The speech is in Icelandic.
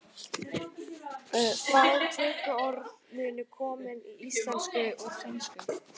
Fá tökuorð munu komin í íslensku úr finnsku.